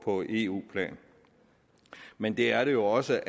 eu plan men det er jo også